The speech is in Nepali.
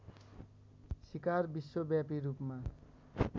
सिकार विश्वव्यापी रूपमा